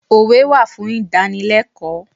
Òwe wà fún ìdánilẹ́kọ̀ọ́.